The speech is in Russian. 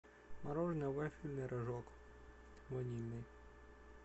мороженое вафельный рожок ванильный